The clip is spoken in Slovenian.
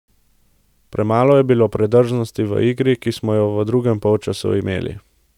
Premalo je bilo predrznosti v igri, ki pa smo jo v drugem polčasu imeli.